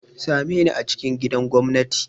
Same ni a cikin gidan gwamnati!